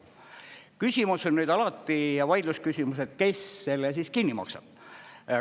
Küsimus on alati ja vaidlusküsimused, kes selle kinni maksab.